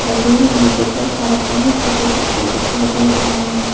और दूर में मुझे बहुत सारा पानी खेती सब भी दिखाई दे रहा है।